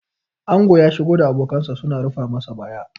ango ya shigo da abokansa suna rufa masa baya